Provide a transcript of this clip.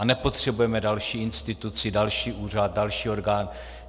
A nepotřebujeme další instituci, další úřad, další orgán.